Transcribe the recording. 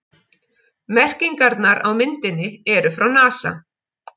Merkingarnar á myndinni eru frá NASA.